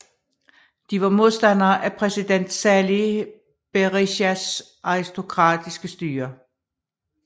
De var modstandere af præsident Sali Berishas autokratiske styre